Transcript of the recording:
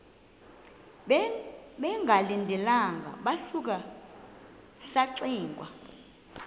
bengalindelanga sasuka saxinga